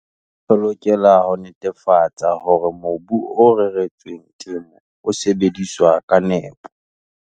Re lokela ho netefatsa hore mobu o reretsweng temo o sebediswa ka nepo.